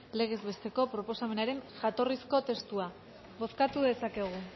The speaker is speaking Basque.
legez besteko proposamenaren jatorrizko testua bozkatu dezakegu